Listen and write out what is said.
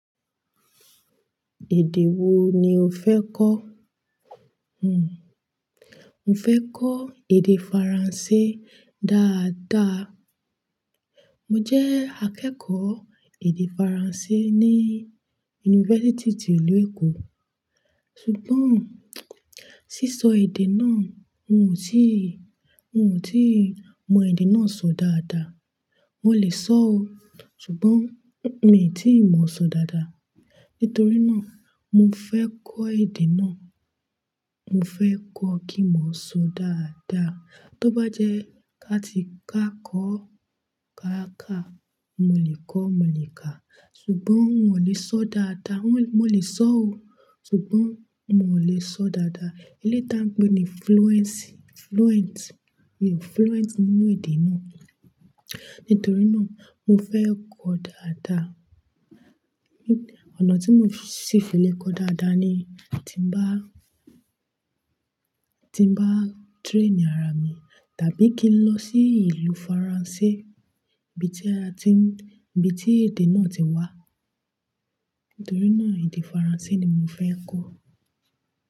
Èdè wo ni o fẹ́ kọ́? Hmm, mo fẹ́ kọ́ èdè Faransé dáadáa. Mo jẹ́ akẹ́kọ̀ọ́ èdè Faransé ní yunifásítì ti ìlú Èkó. Ṣùgbọ́n, sísọ èdè náà n ò tíì, n ò tíì mọ èdè náà sọ dáadáa. Mo lè sọ ó, ṣùgbọ́n mi tíì mọ sọ dáadáa. Nítorí náà, mo fẹ́ kọ́ èdè náà. Mo fẹ́ kọ́ kí n mo sọ dáadáa. Tóbá jẹ́ ká ti káakọ káakà, mọ lè kọ, mọ lè ká. Ṣùgbọ́n n ò lè sọ dáadáa. Mo lè sọ ó, ṣùgbọ́n mọ lè sọ dáadáa. Eléyìí tàn pé ni fluency, fluent. Mi o fluent nínú èdè náà. Nítorí náà, mo fẹ́ kọ́ dáadáa. Ọ̀nà tí mo ṣì fi lè kọ dáadáa ni tín bá, tín bá train ara mi, tàbí kí n lọ sí ìlú Faransé, ibi tí a ti n, ibi tí èdè náà ti wá. Nítorí náà èdè Faransé ni mo fẹ́ kọ́.